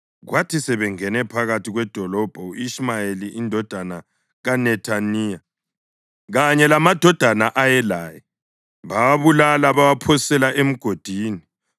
Kwathi sebengene phakathi kwedolobho u-Ishumayeli indodana kaNethaniya kanye lamadoda ayelaye, bawabulala bawaphosela emgodini.